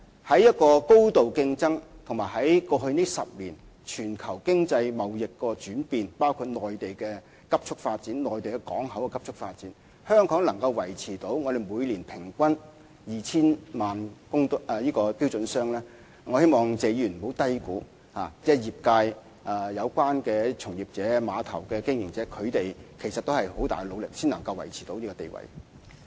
在一個高度競爭的環境，以及過去10年全球經濟貿易的轉變下，包括內地港口的急速發展，香港仍可維持每年平均 2,000 萬標準箱的水平，我希望謝議員不要低估這成就，因為業界從業員、碼頭經營者其實要付出很大的努力，才可保持這個地位。